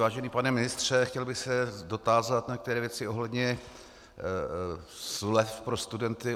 Vážený pane ministře, chtěl bych se dotázat na některé věci ohledně slev pro studenty.